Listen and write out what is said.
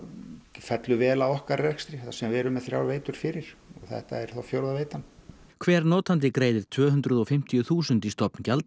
fellur vel að okkar rekstri þar sem við erum með þrjár veitur fyrir og þetta er þá fjórða veitan hver notandi greiðir tvö hundruð og fimmtíu þúsund í stofngjald